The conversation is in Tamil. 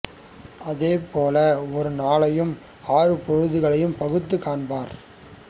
அதே போல ஒரு நாளையும் ஆறு பொழுதுகளாகப் பகுத்துக் காண்பர்